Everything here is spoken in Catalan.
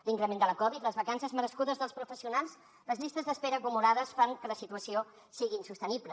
l’increment de la covid les vacances merescudes dels professionals les llistes d’espera acumulades fan que la situació sigui insostenible